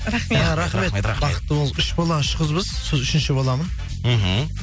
рахмет рахмет бақытты болыңыз үш бала үш қызбыз сол үшінші баламын мхм